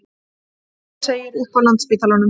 Hulda segir upp á Landspítalanum